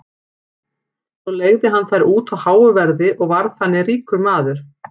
Svo leigði hann þær út á háu verði og varð þannig ríkur maður.